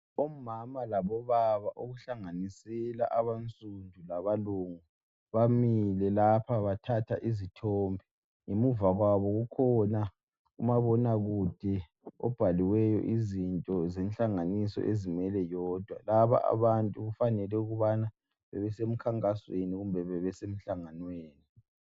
Omama labobaba okuhlanganisela abasundu labalungu bamile lapha bathatha izithombe, ngemuva kwabo kukhona umabonakude obhaliweyo izinto zenhlanganiso ezimele yodwa. Lababantu kufanele ukubana bebesemkhankasweni kumbe bebesemhlanganweni.